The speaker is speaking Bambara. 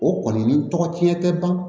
O kɔni ni tɔgɔ tiɲɛ tɛ ban